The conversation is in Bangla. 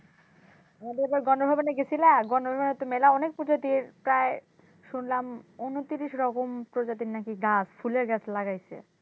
গেছিলা? তো মেলা অনেক পুজো দিয়ে প্রায় শুনলাম উনতিরিশ রকম প্রজাতির গাছ ফুলের গাছ লাগাইছে।